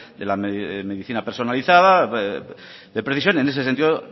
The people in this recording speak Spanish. de la medicina personalizada de precisión y en ese sentido